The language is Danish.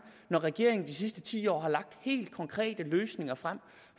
når regeringen de sidste ti år har lagt helt konkrete løsninger frem